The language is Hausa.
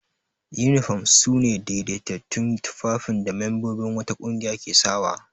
Yunifom su ne daidaitattun tufafin da membobin wata ƙungiya ke sawa.